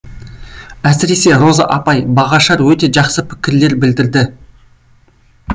әсіресе роза апай бағашар өте жақсы пікірлер білдірді